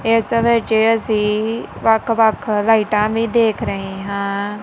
ਇਸ ਵਿਚ ਅਸੀ ਵੱਖ ਵੱਖ ਲਾਈਟਾਂ ਵੀ ਦੇਖ ਰਹੇ ਹਾਂ।